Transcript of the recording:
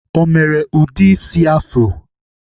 Ọ mere ụdị isi afro?